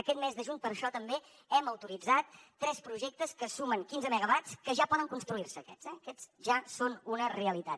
aquest mes de juny per això també hem autoritzat tres projectes que sumen quinze megawatts que ja poden construir se aquests eh aquests ja són una realitat